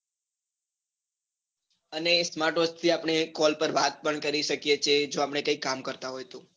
અને smart watch થી આપણે call પર વાત પણ કરી શકીએ છીએ જો આપણે કઈ કામ કરતા હોઈએ તો